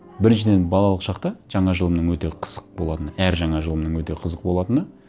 біріншіден балалық шақта жаңа жылымның өте қызық болатыны әр жаңа жылымның өте қызық болатыны